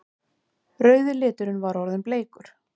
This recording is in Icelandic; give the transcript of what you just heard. Rauði liturinn var orðinn bleikur!